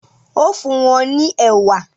o fún wón ní ewa.